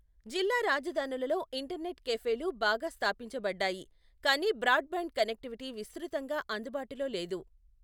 జిల్లా రాజధానులలో ఇంటర్నెట్ క్యాఫేలు బాగా స్థాపించబడ్డాయి, కాని బ్రాడ్బ్యాండ్ కనెక్టివిటీ విస్తృతంగా అందుబాటులో లేదు.